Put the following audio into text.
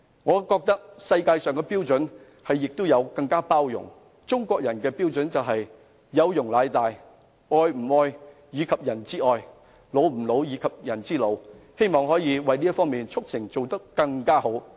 我覺得世界要有更大的包容，中國人的標準是"有容乃大"，"老吾老以及人之老，幼吾幼以及人之幼"，希望我們這方面可以做得更好。